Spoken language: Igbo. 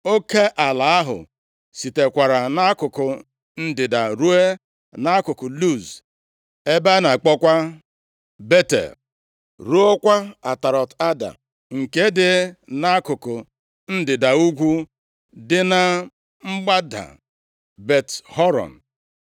Oke ala ahụ sitekwara nʼakụkụ ndịda ruo nʼakụkụ Luz (ebe a na-akpọkwa Betel), ruokwa Atarọt-Ada, nke dị nʼakụkụ ndịda ugwu dị na mgbada Bet-Horon.